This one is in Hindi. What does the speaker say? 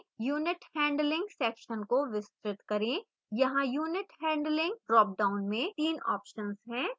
unit handling section को विस्तृत करें